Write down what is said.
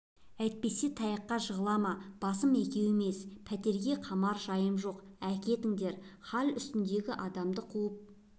әйтпесе таяққа жығыла ма басым екеуі емес пәлеге қалар жайым жоқ әкетіңдер хал үстіндегі адамды қуып